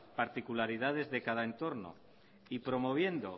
particularidades de cada entorno y promoviendo